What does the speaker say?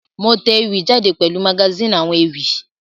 Mo te ewì jáde pèlu magazine àwon ewì